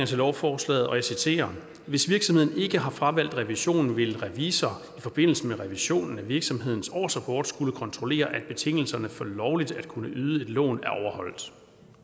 til lovforslaget og jeg citerer hvis virksomheden ikke har fravalgt revision vil en revisor i forbindelse med revisionen af virksomhedens årsrapport skulle kontrollere at betingelserne for lovligt at kunne yde et lån er overholdt